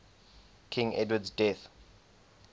king edward's death